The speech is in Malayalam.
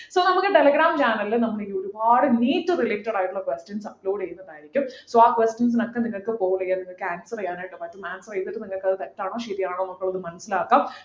ഇപ്പൊ നമ്മക്ക് telegram channel ലു നമ്മളിങ്ങനെ ഒരുപാട് NEETrelated ആയിട്ടുള്ള questions upload ചെയ്യുന്നതായിരിക്കും so ആ questions ഒക്കെ നിങ്ങൾക്ക് poll ചെയ്യാ നിങ്ങൾക്ക് answer ചെയ്യാനായിട്ട് പറ്റും answer ചെയ്തിട്ട് നിങ്ങക്ക് അത് തെറ്റാണോ ശെരിയാണോ എന്നൊക്കെ ഒന്ന് മനസിലാക്കാം